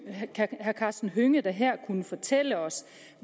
herre karsten hønge da her kunne fortælle os